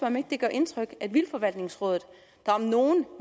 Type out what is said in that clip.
om ikke det gør indtryk at vildtforvaltningsrådet der om nogen